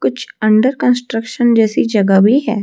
कुछ under construction जैसी जगह भी है।